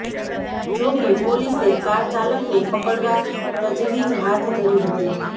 જો કે પોલીસે કાર ચાલકને પકડવા તજવીજ હાથ ધરી હતી